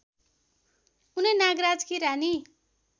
उनै नागराजकी रानी